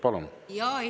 Palun!